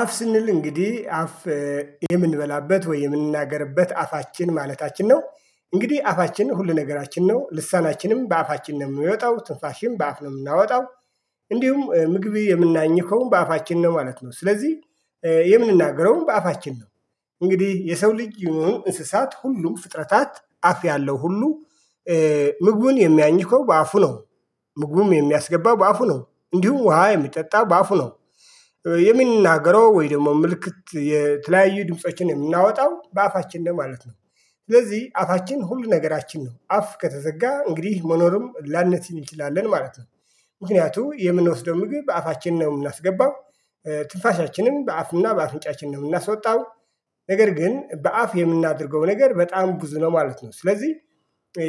አፍ ስንል እንግዲህ አፍ የምንበላበት ወይ የምንናገርበት አፋችን ማለታችን ነው። እንግዲህ አፋችን ሁሉ ነገራችን ነው ልሳናችንም በአፋችን ነው የሚወጣው ትንፋሽን በአፍ ነው የምናወጣው። እንዲሁም ምግብ የምናኝከው በአፋችን ነው ማለት ነው። ስለዚህ የምንናገረውም በአፋችን ነው። እንግዲህ የሰው ልጅ ይሁን እንስሳት ሁሉ ፍጥረታት አፍ ያለው ሁሉ ምግቡን የሚያኝከው በአፉ ነው። ምግቡም የሚያስገባው በአፉ ነው እንዲሁም ውሃ የሚጠጣ በአፉ ነው። የሚናገረው ወይ ደግሞ ምልክት የተለያዩ ድምፆችን የምናወጣው በአፋችን ነው ማለት ነው። ስለዚህ አፋችን ሁሉ ነገራችን ነው አፍ ከተዘጋ እንግዲህ መኖርም ላንችል እንችላለን ማለት ነው። ምክንያቱም የምንወስደው ምግብ በአፋችን ነው የምናስገባው። ትንፋሻችንም በአፍና በአፍንጫችን ነው የምናስወጣው። ነገር ግን በአፍ የምናደርገው ነገር በጣም ብዙ ነው ማለት ነው። ስለዚህ